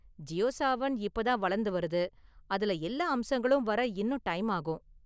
ஜியோ சாவன் இப்ப தான் வளர்ந்து வருது, அதுல எல்லா அம்சங்களும் வர இன்னும் டைம் ஆகும்.